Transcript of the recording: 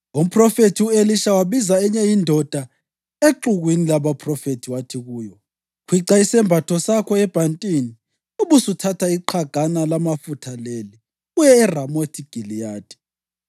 Umphrofethi u-Elisha wabiza enye indoda exukwini labaphrofethi wathi kuyo, “Khwica isembatho sakho ebhantini ubusuthatha iqhagana lamafutha leli, uye eRamothi Giliyadi.